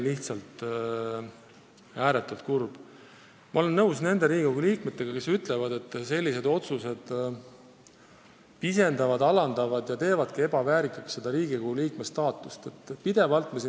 Ma olen nõus nende Riigikogu liikmetega, kes ütlevad, et sellised otsused pisendavad ja alandavad Riigikogu liikme staatust, muudavad meid ebaväärikaks.